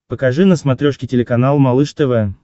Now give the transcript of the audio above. покажи на смотрешке телеканал малыш тв